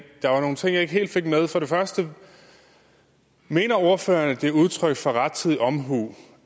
der var nogle ting jeg ikke helt fik med for det første mener ordføreren at det er udtryk for rettidig omhu